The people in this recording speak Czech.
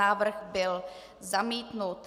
Návrh byl zamítnut.